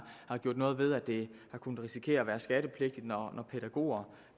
gjort noget ved at det har kunnet risikere at være skattepligtigt når pædagoger